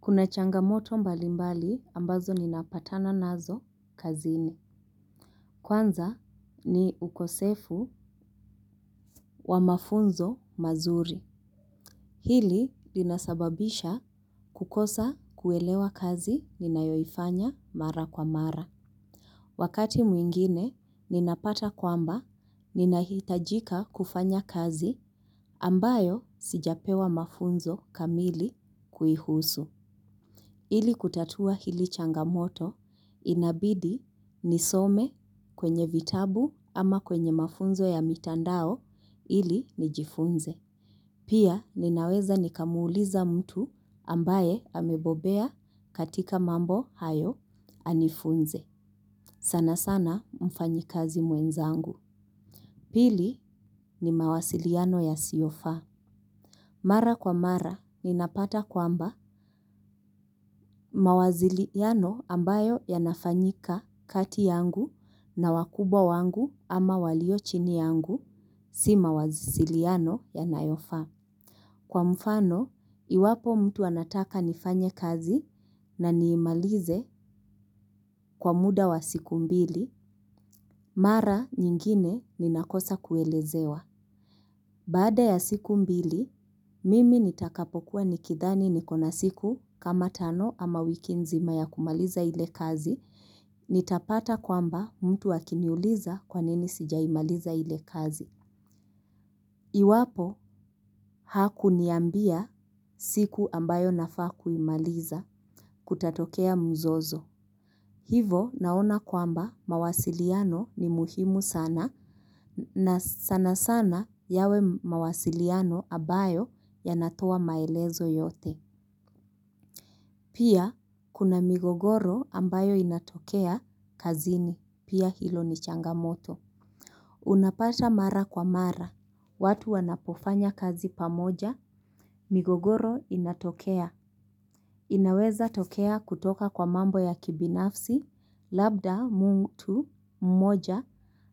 Kuna changamoto mbalimbali ambazo ninapatana nazo kazini. Kwanza ni ukosefu wa mafunzo mazuri. Hili linasababisha kukosa kuelewa kazi ninayoifanya mara kwa mara. Wakati mwingine ninapata kwamba ninahitajika kufanya kazi ambayo sijapewa mafunzo kamili kuihusu. Ili kutatua hili changamoto inabidi nisome kwenye vitabu ama kwenye mafunzo ya mitandao ili nijifunze. Pia ninaweza nikamuuliza mtu ambaye amebobea katika mambo hayo anifunze. Sana sana mfanyikazi mwenzangu. Pili ni mawasiliano yasiyofaa. Mara kwa mara, ninapata kwamba mawasiliano ambayo yanafanyika kati yangu na wakubwa wangu ama walio chini yangu si mawasiliano yanayofaa. Kwa mfano, iwapo mtu anataka nifanye kazi na niimalize kwa muda wa siku mbili, mara nyingine ninakosa kuelezewa. Baada ya siku mbili, mimi nitakapokuwa nikidhani niko na siku kama tano ama wiki nzima ya kumaliza ile kazi. Nitapata kwamba mtu akiniuliza kwa nini sijaimaliza ile kazi. Iwapo hakuniambia siku ambayo nafaa kuimaliza kutatokea mzozo. Hivo naona kwamba mawasiliano ni muhimu sana. Na sana sana yawe mawasiliano ambayo yanatoa maelezo yote. Pia kuna migogoro ambayo inatokea kazini. Pia hilo ni changamoto. Unapata mara kwa mara. Watu wanapofanya kazi pamoja, migogoro inatokea. Inaweza tokea kutoka kwa mambo ya kibinafsi. Labda mtu mmoja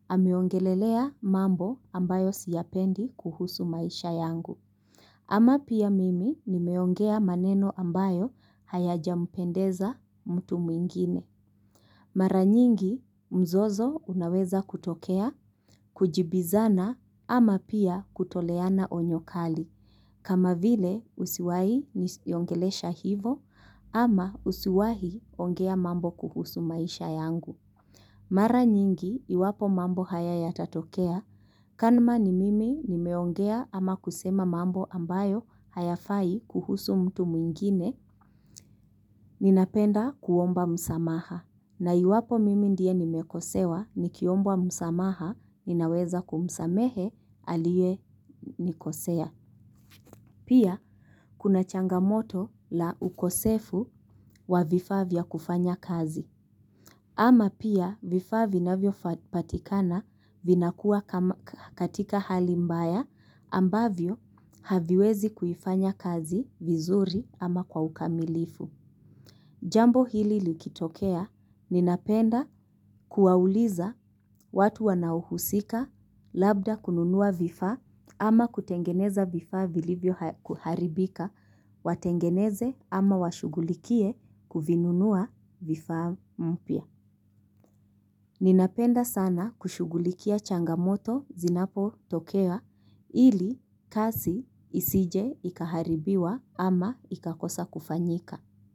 ameongelelea mambo ambayo siyapendi kuhusu maisha yangu. Ama pia mimi nimeongea maneno ambayo hayajampendeza mtu mwingine. Mara nyingi mzozo unaweza kutokea, kujibizana ama pia kutoleana onyo kali. Kama vile usiwahi niongelesha hivyo ama usiwahi ongea mambo kuhusu maisha yangu. Mara nyingi, iwapo mambo haya yatatokea, kama ni mimi nimeongea ama kusema mambo ambayo hayafai kuhusu mtu mwingine. Ninapenda kuomba msamaha na iwapo mimi ndiye nimekosewa nikiombwa msamaha ninaweza kumsamehe aliyenikosea. Pia, kuna changamoto la ukosefu wa vifaa vya kufanya kazi. Ama pia vifaa vinavyopatikana vinakuwa katika hali mbaya ambavyo haviwezi kuifanya kazi vizuri ama kwa ukamilifu. Jambo hili likitokea ninapenda kuwauliza watu wanaohusika labda kununua vifaa ama kutengeneza vifaa vilivyoharibika watengeneze ama washughulikie kuvinunua vifaa mpya. Ninapenda sana kushughulikia changamoto zinapotokea ili kazi isije ikaharibiwa ama ikakosa kufanyika.